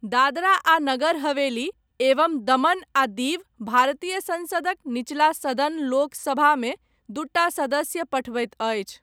दादरा आ नगर हवेली एवं दमन आ दीव भारतीय संसदक नीचला सदन लोक सभामे दूटा सदस्य पठबैत अछि।